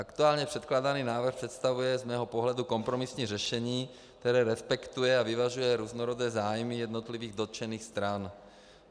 Aktuálně předkládaný návrh představuje z mého pohledu kompromisní řešení, které respektuje a vyvažuje různorodé zájmy jednotlivých dotčených stran.